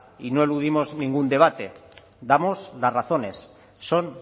y no eludimos ningún debate damos las razones son